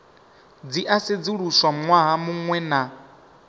dzi a sedzuluswa ṅwaha muṅwe